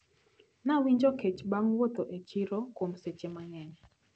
Nawinjo kech bang` wuotho e chiro kuom seche mang`eny.